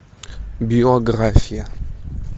биография